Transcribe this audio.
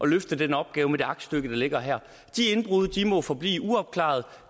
løfte den opgave med det aktstykke der ligger her de indbrud må forblive uopklarede